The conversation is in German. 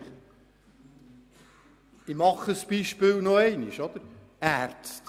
Nehmen wir zum Beispiel noch einmal die Ärzte.